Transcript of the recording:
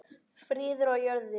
Friður á jörðu.